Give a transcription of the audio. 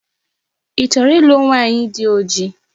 Ị chọrọ ịlụ nwaanyi dị ojii?